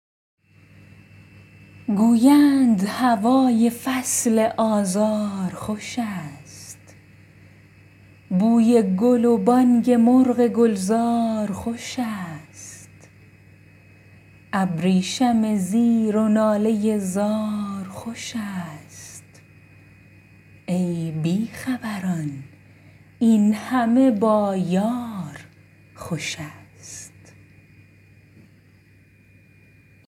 گویند هوای فصل آزار خوش ست بوی گل و بانگ مرغ گلزار خوش ست ابریشم زیر و ناله زار خوشست ای بی خبران این همه با یار خوش ست